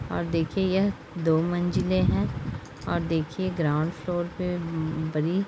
और दिखये यह दो मंजिले हैं और दिखये गरऑउन्ड फ्लाउर पे बड़ी --